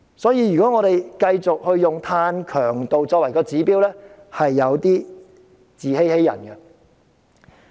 所以，如果我們繼續用碳強度作為指標，便有點自欺欺人。